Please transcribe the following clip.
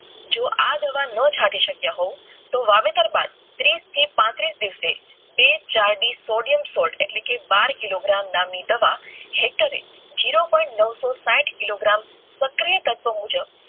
જો આ દવા ન છાંટી સકાય તો વાવેતર બાદ તીસ થી પાંત્રીસ દિવસે બે કે ચાર સોલિયમસૉલ્ટ સહિત કિલો ગ્રામ સક્રિય તત્વો મુજબ